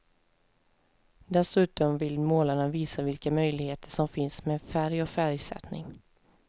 Dessutom vill målarna visa vilka möjligheter som finns med färg och färgsättning.